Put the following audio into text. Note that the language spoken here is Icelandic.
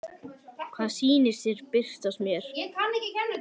Hvaða sýnir birtast mér?